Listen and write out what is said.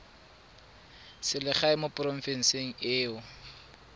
selegae mo porofenseng e o